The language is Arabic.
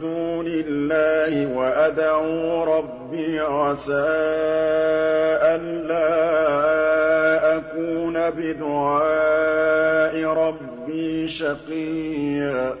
دُونِ اللَّهِ وَأَدْعُو رَبِّي عَسَىٰ أَلَّا أَكُونَ بِدُعَاءِ رَبِّي شَقِيًّا